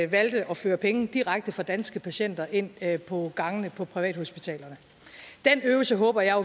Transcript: valgte at føre penge direkte fra danske patienter ind på gangene på privathospitalerne den øvelse håber jeg